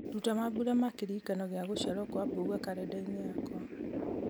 ruta mambura ma kĩririkano gĩa gũciarwo kwa mbugua karenda-inĩ yakwa